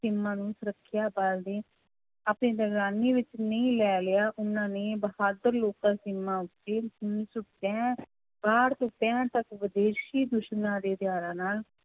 ਸੀਮਾ ਨੂੰ ਸੁਰੱਖਿਆ ਬਲ ਦੇ ਵਿੱਚ ਨਹੀਂ ਲੈ ਲਿਆ ਉਹਨਾਂ ਨੇ ਬਹਾਦਰ ਉੱਤੇ ਉੱਨੀ ਸੌ ਪੈਂ~ ਕਾਹਠ ਤੋਂ ਪੈਹਠ ਤੱਕ ਵਿਦੇਸ਼ੀ ਦੁਸ਼ਮਣਾਂ ਦੇ ਨਾਲ